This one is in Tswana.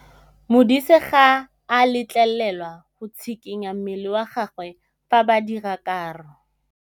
Modise ga a letlelelwa go tshikinya mmele wa gagwe fa ba dira karô.